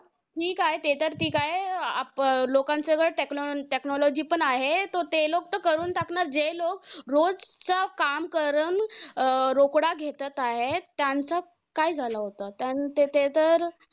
ठीक आहे. ते तर ठीक आहे. आप अं ठीक आहे लोकांसह सगळं technology पण आहे. तो ते लोक करून टाकणार. जे लोक रोज चा काम करून अं रोकडा घेतात आहे. त्यांचा काय झाला होता. ते तर